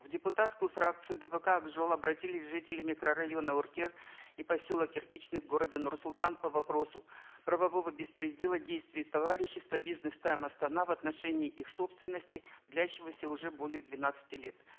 в депутатскую фракцию дпк ак жол обратились жители микрорайона уркер и поселок кирпичный города нур султан по вопросу правового беспредела действия товарищества бизнес тайм астана в отношении их собственности длящегося уже более двенадцати лет